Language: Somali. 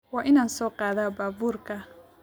Waa inaan soo qaadaa baabuurka